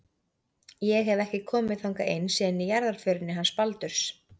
Ég hef. ekki komið þangað inn síðan í jarðarförinni hans Baldurs.